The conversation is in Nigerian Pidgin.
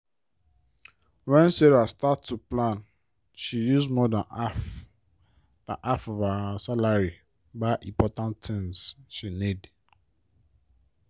when sarah start to plan she use more than half than half of her salary buy important tins she need.